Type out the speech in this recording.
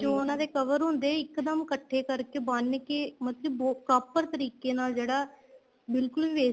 ਜੋ ਉਹਨਾ ਦੇ cover ਹੁੰਦੇ ਏ ਇੱਕ ਦਮ ਇੱਕਠੇ ਕਰਕੇ ਬੰਨਕੇ ਮਤਲਬ ਕੀ proper ਤਰੀਕੇ ਨਾਲ ਜਿਹੜਾ ਬਿਲਕੁਲ